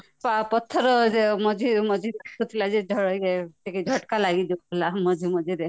ପଥର ମଝି ମଝିରେ ଲାଗୁଥିଲା ଟିକେ ଝଟକା ଲାଗିଯାଉଥିଲା ମଝି ମଝିରେ